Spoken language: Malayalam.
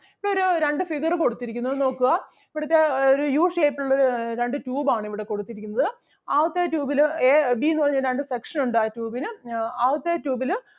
ഇപ്പൊ ഒരു രണ്ടു figure കൊടുത്തിരിക്കുന്നു അത് നോക്കുക. ഇവിടുത്തെ അഹ് ഒരു യു shape ലുള്ള ആഹ് രണ്ടു tube ആണ് ഇവിടെ കൊടുത്തിരിക്കുന്നത്. ആദ്യത്തെ tube ല് A, B എന്നു പറഞ്ഞ രണ്ട് section ഉണ്ട് ആ tube ന്. അഹ് ആദ്യത്തെ tube ല്